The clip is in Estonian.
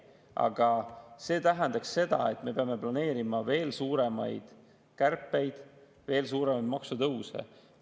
Aga see tähendaks seda, et me peame planeerima veel suuremaid kärpeid, veel suuremaid maksutõuse.